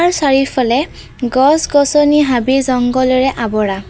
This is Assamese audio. ইয়াৰ চাৰিওফালে গছ গছনি হাবি জংঘলেৰে আৱৰা।